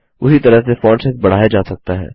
उसी तरह से फॉन्ट साइज बढ़ाया जा सकता है